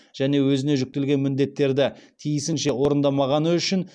және өзіне жүктелген міндеттерді тиісінше орындамағаны үшін